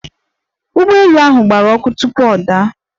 Ụgbọ elu ahụ gbara ọkụ tupu ọ daa.